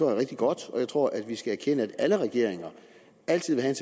er rigtig godt og jeg tror at vi skal erkende at alle regeringer altid vil have